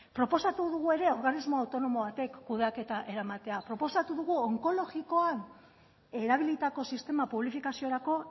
proposatu dugu ere organismo autonomo batek kudeaketa eramatea proposatu dugu onkologikoan erabilitako sistema publifikaziorako